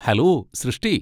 Hello Srishti!